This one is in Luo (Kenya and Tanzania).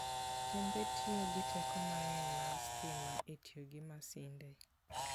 Kembe tiyo gi teko mang'eny mar stima e tiyo gi masinde.